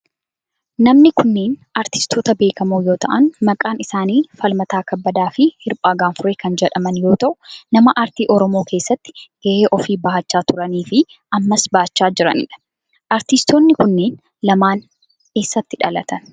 Namni kunneen aartistoota beekamoo yoo ta'aan maqaan isaanii Falmataa Kabbadaa fi Hirphaa Gaanfuree kan jedhaman yoo ta'u nama aartii oromoo keessatti gahee ofii bahaachaa turanii fi ammas bachaachaa jiranidha. aartistoonni kunneen lamaan eessatti dhalatan?